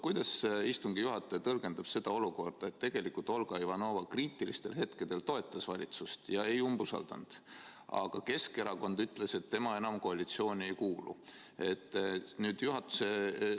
Kuidas istungi juhataja tõlgendab sellist olukorda, kus tegelikult Olga Ivanova kriitilistel hetkedel toetas valitsust ega umbusaldanud, aga Keskerakond ütles, et tema enam koalitsiooni ei kuulu?